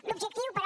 l’objectiu però